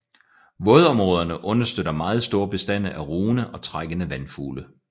Vådområderne understøtter meget store bestande af rugende og trækkende vandfugle